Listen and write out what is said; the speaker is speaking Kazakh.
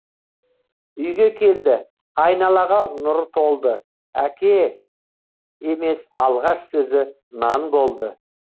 үйге келді айналаға нұр толды әке емес алғаш сөзі нан болды